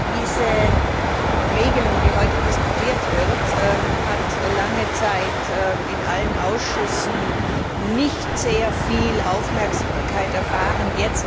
Diese Regelung, die heute diskutiert wird, hat lange Zeit in allen Ausschüssen nicht sehr viel Aufmerksamkeit erfahren.